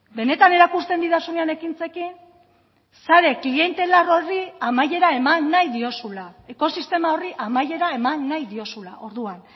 benetan erakusten didazunean ekintzekin sare klientelar horri amaiera eman nahi diozula ekosistema horri amaiera eman nahi diozula orduan